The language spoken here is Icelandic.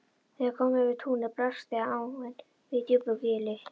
Þegar kom yfir túnið blasti áin við í djúpu gili.